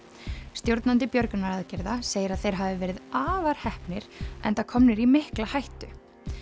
stjórnandi björgunaraðgerða segir að þeir hafi verið afar heppnir enda komnir í mikla hættu